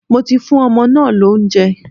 Mo ti fún ọmọ náà lóúnjẹ.